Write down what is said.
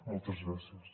moltes gràcies